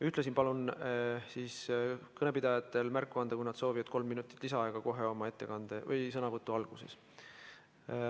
Ühtlasi palun kõnepidajatel märku anda, kui nad soovivad kolm minutit lisaaega, kohe oma sõnavõtu alguses.